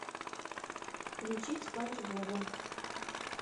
включить спанч боба